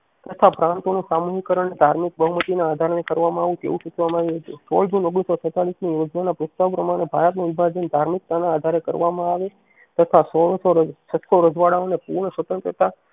તથા પ્રાંતો નું સામાન્ય કારણ ધાર્મિક બહુમતી ના આધારે કરવામાં આવે તેવું ચૂંટવામાં આવ્યું હતું સોળ જૂન ઓગણીસો છેતાલીસ ની યોજના ના પ્રસ્તાવ પ્રમાણે ભારત નું વિભાજન ધાર્મિકતા ના આધારે કરવામાં આવે તથા રજવાડાઓ ને પૂર્ણ સ્વતંત્રતા કે પછી